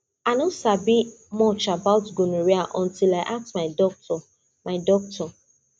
i no sabi much about gonorrhea until i ask my doctor my doctor